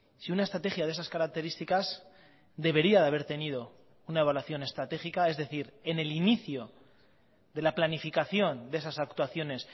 si una estrategia de esas características debería de haber tenido una evaluación estratégica es decir en el inicio de la planificación de esas actuaciones